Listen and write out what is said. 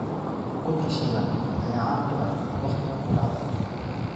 Ukunta shiilan ayaa caan ku ah wakhtiga quraacda.